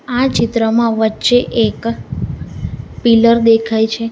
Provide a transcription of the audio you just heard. આ ચિત્રમાં વચ્ચે એક પિલર દેખાય છે.